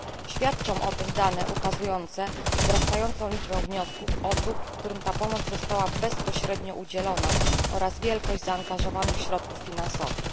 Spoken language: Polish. Świadczą o tym dane ukazujące wzrastającą liczbę wniosków osób, którym ta pomoc zastała bezpośrednio udzielona, oraz wielkość zaangażowanych środków finansowych.